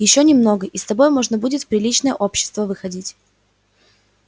ещё немного и с тобой можно будет в приличное общество выходить